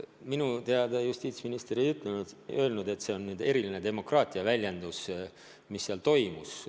Minu teada justiitsminister ei öelnud, et see oli eriline demokraatia väljendus, mis seal toimus.